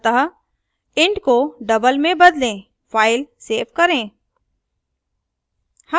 अतः int को double में बदलें file so करें